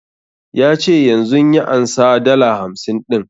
Ya ce yanzun ya ansa dala hamsin ɗin